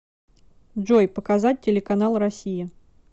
джой показать телеканал россия